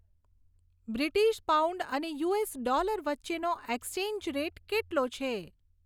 British pound અને US dollar વચ્ચેનો exchange rate કેટલો છે